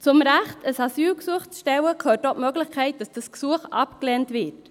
Zum Recht, ein Asylgesuch zu stellen, gehört auch die Möglichkeit, dass dieses Gesuch abgelehnt wird.